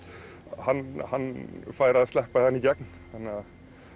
hann hann fær að sleppa þarna í gegn þannig að